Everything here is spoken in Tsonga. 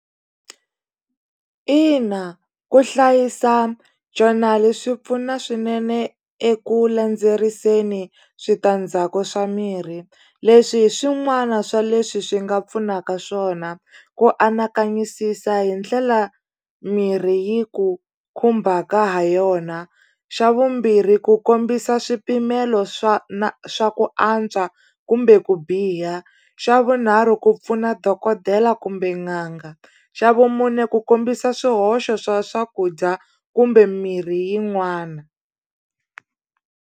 Ina ku hlayisa journal swi pfuna swinene eku landzeriseni switandzhaku swa mirhi leswi hi swin'wana swa leswi swi nga pfunaka swona ku anakanyisisa hi ndlela mirhi yi ku khumbaka ha yona xa vumbirhi ku kombisa swipimelo swa na swa ku antswa kumbe ku biha xa vunharhu ku pfuna dokodela kumbe n'anga xa vumune ku kombisa swihoxo swa swakudya kumbe mirhi yin'wana.